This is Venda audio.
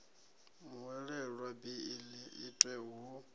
muhwelelwa beiḽi i itwe hu